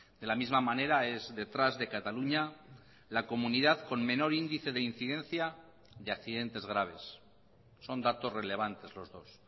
de la misma manera es detrás de cataluña la comunidad con menor índice de incidencia de accidentes graves son datos relevantes los dos